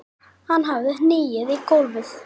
Hann hafði hnigið í gólfið.